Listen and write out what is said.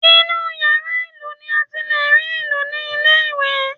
Inú yàrá ìlù ni a ti lè rí ìlù ní ilé ìwé